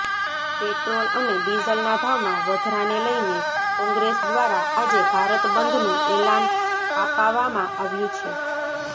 petrol અને ડિઝલના ભાવમાં વધરાને લઇને કોંગ્રેસ દ્વારા આજે ભારતબંધનું એલાન આપાવામાં આવ્યું છે